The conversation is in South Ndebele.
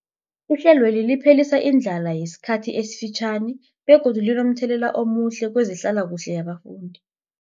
Ihlelweli liphelisa indlala yesikhathi esifitjhani begodu linomthelela omuhle kezehlalakuhle yabafundi.